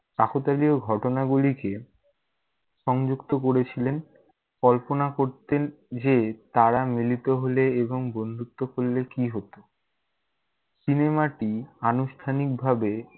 কাকোতালীয় ঘটনাগুলিকে সংযুক্ত করেছিলেন, কল্পনা করতেন যে তারা মিলিত হলে এবং বন্ধুত্ব করলে কী হত। cinema টি আনুষ্ঠানিকভাবে